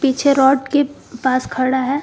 पीछे रॉड के पास खड़ा है।